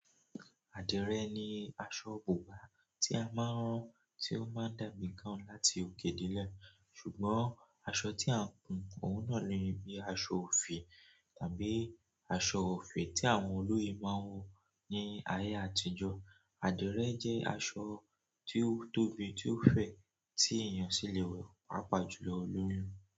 Àdìrẹ ni aṣọ bùbá tí a máa ń rán tí ó máa ń dàbí gown láti òkè dele, ṣùgbọ́n aṣọ tí à ń hùn òun náà ni bíi aṣọ òfì tàbí aṣọ òfì tí àwọn olóyè máa ń wọ ní ayé àtijọ́. Àdìrẹ jẹ́ aṣọ tí ó tóbi, tí ó fẹ̀, tí èeyàn sì le wọ paapaa jùlọ olóyún.